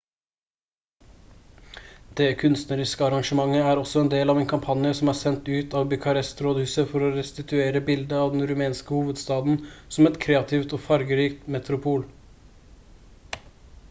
det kunstneriske arrangementet er også en del av en kampanje som er sendt ut av bucharest-rådhuset for å restituere bildet av den rumenske hovedstaden som et kreativt og fargerikt metropol